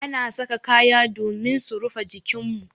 Ana saka kaya domin su rufe jikin mu.